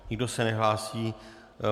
Nikdo se nehlásí.